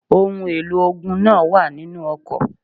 Ohun èlò ogun náà wà nínu ọkọ̀.